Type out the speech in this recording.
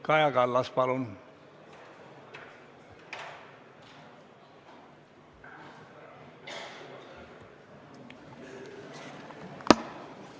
Kaja Kallas, palun!